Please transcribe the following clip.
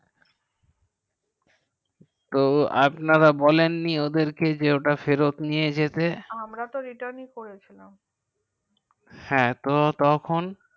তো আপনারা বলেন নি ওদের কে ওটা ফেরত নিতে যেতে আমরা তো ritan ই করে ছিলাম